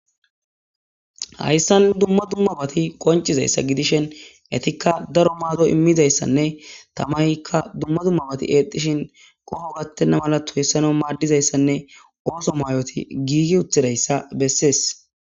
hayssan dumma dummabati qoncizayssa gidishen etikka daro maado immizayssanne tamaykka dumma dummabati eexxishin qoho gattenna mala toyissano maaddizayssanne ooso mayoti giigi utidayssa bessees